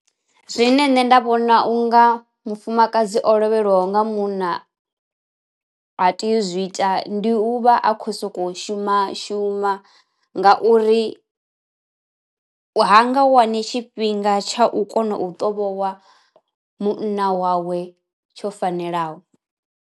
Zwine nṋe nda vhona u nga mufumakadzi o lovhelwaho nga munna a tea u zwi ita, ndi u vha a khou sokou shuma shuma nga uri ha nga wani tshifhinga tsha u kona u ṱovhowa munna wawe tsho fanelaho.